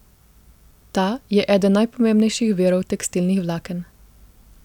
Ta je eden najpomembnejših virov tekstilnih vlaken.